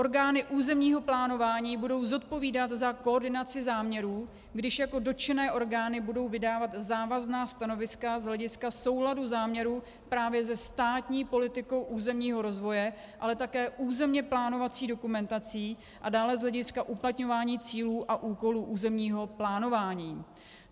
Orgány územního plánování budou zodpovídat za koordinaci záměrů, když jako dotčené orgány budou vydávat závazná stanoviska z hlediska souladu záměrů právě se státní politikou územního rozvoje, ale také územně plánovací dokumentací a dále z hlediska uplatňování cílů a úkolů územního plánování.